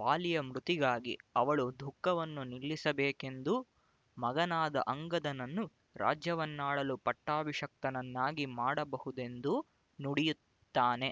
ವಾಲಿಯ ಮೃತಿಗಾಗಿ ಅವಳು ದುಃಖವನ್ನು ನಿಲ್ಲಿಸಬೇಕೆಂದೂ ಮಗನಾದ ಅಂಗದನನ್ನು ರಾಜ್ಯವನ್ನಾಳಲು ಪಟ್ಟಾಭಿಷಕ್ತನನ್ನಾಗಿ ಮಾಡಬಹುದೆಂದೂ ನುಡಿಯುತ್ತಾನೆ